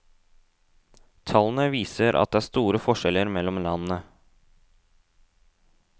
Tallene viser at det er store forskjeller mellom landene.